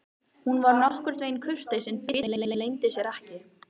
Hún var nokkurn veginn kurteis en biturðin leyndi sér ekki.